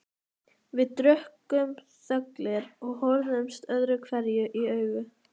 Við drukkum þöglir og horfðumst öðruhverju í augu.